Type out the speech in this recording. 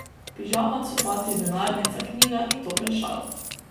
Pižama, copati, denarnica, knjiga in topel šal.